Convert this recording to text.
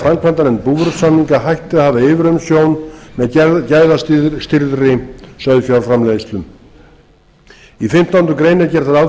framkvæmdanefnd búvörusamninga hætti að hafa yfirumsjón með gæðastýrðri sauðfjárframleiðslu í fimmtándu grein er gert ráð fyrir því